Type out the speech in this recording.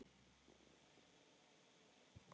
Þóra: Varst þú aftast?